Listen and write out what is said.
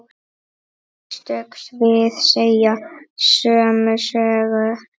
Einstök svið segja sömu sögu.